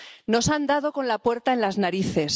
Nos han dado con la puerta en las narices.